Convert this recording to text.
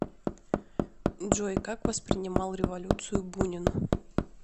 джой как воспринимал революцию бунин